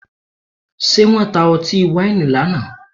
Ṣé wọ́n ta ọtí wáìnì lánàá?